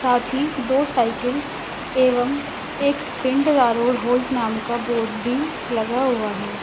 साथ ही दो साइकिल एवं एक पिंडरा रोड होल्ड नाम का बोर्ड भी लगा हुआ है।